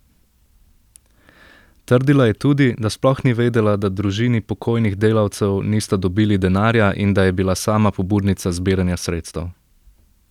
Trdila je tudi, da sploh ni vedela, da družini pokojnih delavcev nista dobili denarja in da je bila sama pobudnica zbiranja sredstev.